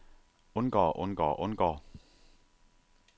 undgår undgår undgår